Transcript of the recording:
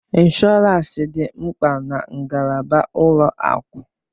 Ịnshọọransị dị mkpa na ngalaba ụlọ akụ.